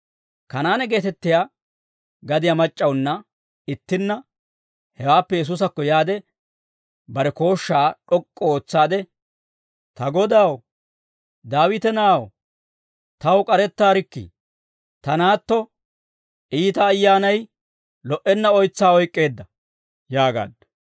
Kanaane geetettiyaa gadiyaa mac'c'awunna ittinna hewaappe Yesuusakko yaade, bare kooshshaa d'ok'k'u ootsaade, «Ta Godaw, Daawita na'aw, taw k'arettaarikkii; ta naatto iita ayyaanay lo"enna oytsaa oyk'k'eedda» yaagaaddu.